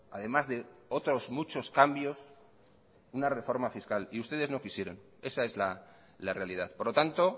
además de otros muchos cambios una reforma fiscal y ustedes no quisieron esa es la realidad por lo tanto